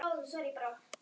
Að því grasi ýmsir dást.